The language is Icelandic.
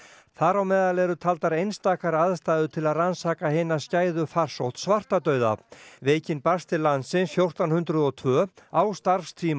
þar á meðal eru einstakar aðstæður til að rannsaka hina skæðu farsótt svartadauða veikin barst til landsins fjórtán hundruð og tvö á starfstíma